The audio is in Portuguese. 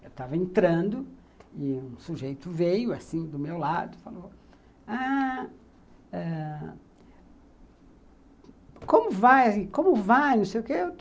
Eu estava entrando e um sujeito veio assim do meu lado e falou... Como vai? Como vai não sei o quê